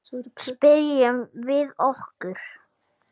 Spyrjum við okkur.